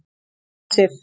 Hersir